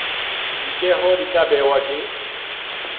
ditjeo di tla behwa ke